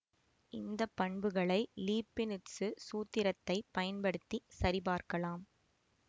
இந்த பண்புகளை லீபினிட்சு சூத்திரத்தைப் பயன்படுத்தி சரிபார்க்கலாம்